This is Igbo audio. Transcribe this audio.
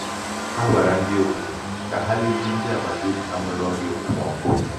ha gwara ndị obodo um ka ha lezie ndị agbata obi ha nwere um ọrịa um okpomọkụ